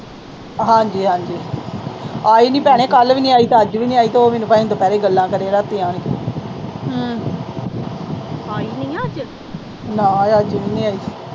ਹਾਂਜੀ, ਹਾਂਜੀ। ਆਈ ਨੀ ਭੈਣੇ। ਕੱਲ੍ਹ ਵੀ ਆਈ, ਅੱਜ ਵੀ ਨੀ ਆਈ। ਦੋ ਦਿਨ ਦੁਪਹਿਰੇ ਗੱਲਾਂ ਕਰਨ ਦਿਆਂ ਰਾਤੀਂ ਨਾ, ਅੱਜ ਵੀ ਨੀ ਆਈ।